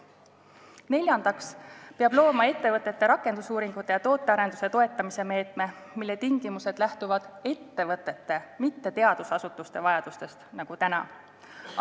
Neljandaks peab looma ettevõtete rakendusuuringute ja tootearenduse toetamise meetme, mille tingimused lähtuvad ettevõtete, mitte teadusasutuste vajadustest nagu täna.